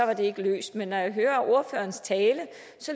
det ikke løst men når jeg hører ordførerens tale